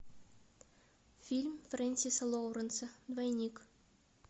фильм френсиса лоуренса двойник